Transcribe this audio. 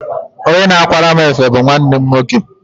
Onye na-akwara mụ efe bu nwanne m nwoke.